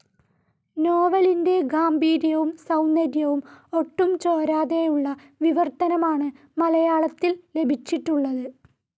നോവലിന്റെ ഗാംഭീര്യവും സൗന്ദര്യവും ഒട്ടും ചോരാതെയുള്ള വിവർത്തനമാണ് മലയാളത്തിൽ ലഭിച്ചിട്ടുള്ളത്.